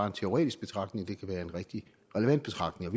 en teoretisk betragtning men kan være en rigtig relevant betragtning